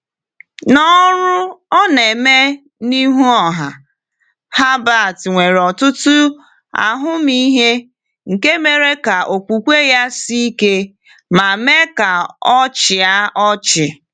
N’ọrụ ọ na-eme n’ihu ọha, Herbert nwere ọtụtụ ahụmịhe nke mere ka okwukwe ya sie ike — ma mee ka ọ chịa ọchị.